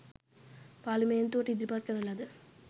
පාර්ලිමේන්තුවට ඉදිරිපත් කරන ලද